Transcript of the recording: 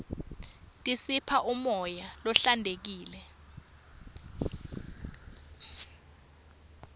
tisipha umoya lohlantekile